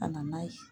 Ka na n'a ye